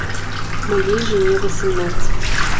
моей жене восемнадцать